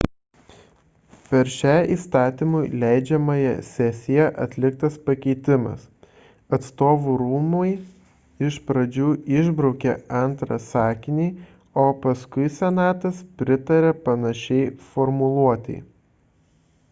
per šią įstatymų leidžiamąją sesiją atliktas pakeitimas atstovų rūmai iš pradžių išbraukė antrą sakinį o paskui senatas pritarė panašiai formuluotei